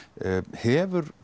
hefur